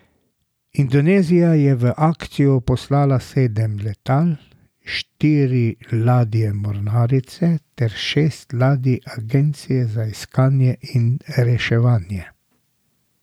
Indonezija je v akcijo poslala sedem letal, štiri ladje mornarice ter šest ladij agencije za iskanje in reševanje.